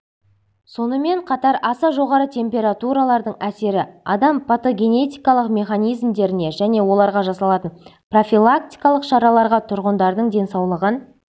сонымен қатар аса жоғары температуралардың әсері адам патогенетикалық механизмдеріне және оларға жасалатын профилактикалық шараларға тұрғындардың денсаулығын